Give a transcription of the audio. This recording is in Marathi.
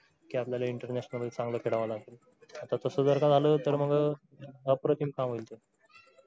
कि आपल्याला international मध्ये चांगलं खेळावं लागेल. आता तसं जर का झालं तर मग अप्रतिम काम होईल.